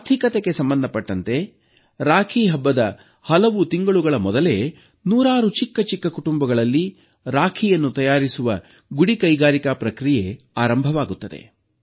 ಆರ್ಥಿಕತೆಗೆ ಸಂಬಂಧಪಟ್ಟಂತೆ ರಾಖಿ ಹಬ್ಬದ ಹಲವು ತಿಂಗಳುಗಳ ಮೊದಲೇ ನೂರಾರು ಚಿಕ್ಕಚಿಕ್ಕ ಕುಟುಂಬಗಳಲ್ಲಿ ರಾಖಿಯನ್ನು ತಯಾರಿಸುವ ಗುಡಿಕೈಗಾರಿಕಾ ಪ್ರಕ್ರಿಯೆ ಆರಂಭವಾಗುತ್ತದೆ